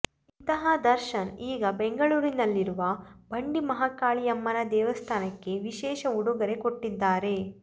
ಇಂತಹ ದರ್ಶನ್ ಈಗ ಬೆಂಗಳೂರಿನಲ್ಲಿರುವ ಬಂಡಿ ಮಹಾಕಾಳಿಯಮ್ಮನ ದೇವಸ್ಥಾನಕ್ಕೆ ವಿಶೇಷ ಉಡುಗೊರೆ ಕೊಟ್ಟಿದ್ದಾರೆ